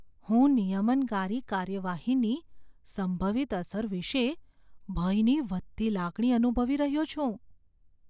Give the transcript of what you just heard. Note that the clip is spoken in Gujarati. હું નિયમનકારી કાર્યવાહીની સંભવિત અસર વિશે ભયની વધતી લાગણી અનુભવી રહ્યો છું.